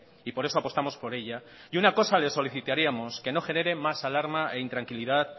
y por eso apostamos por ella y una cosa le solicitaríamos que no genere más alarma e intranquilidad